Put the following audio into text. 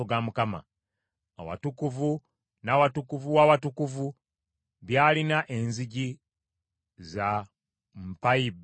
Awatukuvu n’Awatukuvu w’Awatukuvu byalina enzigi za mpayi bbiri bbiri.